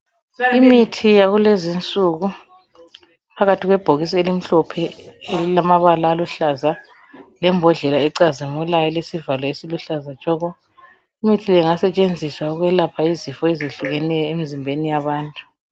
Imithi yakulezi insuku iphakathi kwebhokisi elimhlophe elilamabala aluhlaza nge bhodlela ecazimilayo oliluhlaza tshoko. Imithi le ingasetshenziswa ukwelapha izifo ezihlukeneyo emzimbeni yabantu.